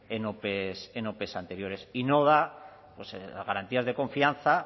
en ope anteriores y no da garantías de confianza